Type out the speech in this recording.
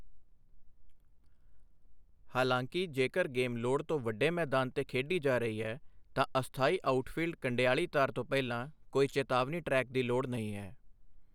ਹਾਲਾਂਕਿ, ਜੇਕਰ ਗੇਮ ਲੋੜ ਤੋਂ ਵੱਡੇ ਮੈਦਾਨ 'ਤੇ ਖੇਡੀ ਜਾ ਰਹੀ ਹੈ, ਤਾਂ ਅਸਥਾਈ ਆਊਟਫੀਲਡ ਕੰਡਿਆਲੀ ਤਾਰ ਤੋਂ ਪਹਿਲਾਂ ਕੋਈ ਚੇਤਾਵਨੀ ਟਰੈਕ ਦੀ ਲੋੜ ਨਹੀਂ ਹੈ।